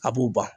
A b'u ban